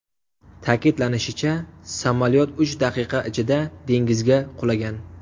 Ta’kidlanishicha, samolyot uch daqiqa ichida dengizga qulagan.